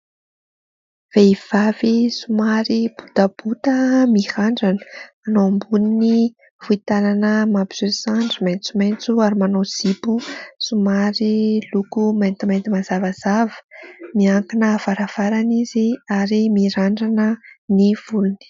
Vehivavy somary botabota mirandrana, manao amboniny fohy tanana mampiseho sandry maitsomaitso, ary manao zipo somary loko maintimainty mazavazava. Miankina varavarana izy, ary mirandrana ny volony.